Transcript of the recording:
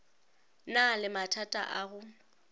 na le mathata a go